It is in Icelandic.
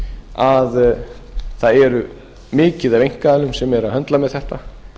að það er mikið af einkaaðilum sem eru að höndla með þetta